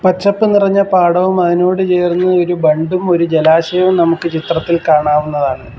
പച്ചപ്പ് നിറഞ്ഞ പാടവും അതിനോട് ചേർന്ന് ഒരു ബണ്ടും ഒരു ജലാശയവും നമുക്ക് ചിത്രത്തിൽ കാണാവുന്നതാണ്.